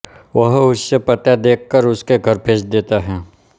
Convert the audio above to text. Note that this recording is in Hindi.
वह उससे पता देख कर उसके घर भेज देता है